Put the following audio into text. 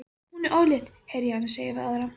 Hún er ólétt, heyri ég hana segja við aðra.